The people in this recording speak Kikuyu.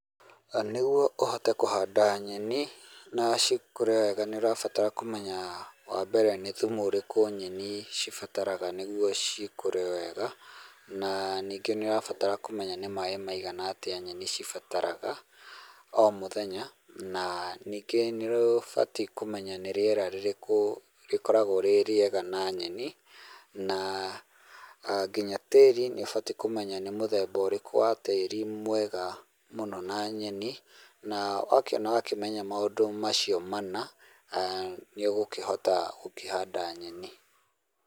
Nĩguo ũhote kũhanda nyeni na cikũre wega nĩ ũrabatara kũmenya, wa mbere nĩ thumu ũrĩkũ nyeni cibataraga nĩguo cikũre wega, na ningĩ nĩ ũrabatara kũmenya nĩ maĩ maigana atĩa nyeni cibataraga,o mũthenya, na ningĩ nĩ ũbatiĩ kũmenya nĩ rĩera rĩrĩkũ rĩkoragũo rĩ rĩega na nyeni, na nginya tĩĩri nĩ ũbatiĩ kũmenya nĩ mũthemba ũrĩkũ wa tĩĩri mwega mũno na nyeni, na wakĩona ũgakĩmenya maũndũ macio mana, nĩ ũgũkĩhota gũkĩhanda nyeni.